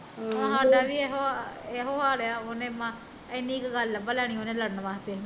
ਆਹੋ ਸਾਡਾ ਵੀ ਇਹੋ ਹਾਲ ਆ, ਉਹਨੇ ਮਸਾਂ ਏਨੀ ਕੁ ਗੱਲ ਲਭ ਲੈਨੀ ਲੜਨ ਵਾਸਤੇ